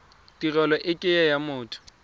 tirelo e ke ya motho